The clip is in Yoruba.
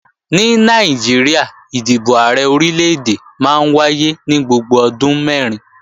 Ní Nàìjíríà, ìdìbò Ààrẹ Orílè-èdè máa ń wáyé ní gbogbo ọdún mẹ́rin